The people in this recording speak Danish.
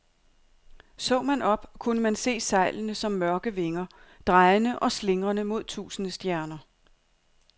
Så man op, kunne man se sejlene som mørke vinger, drejende og slingrende mod tusinde stjerner.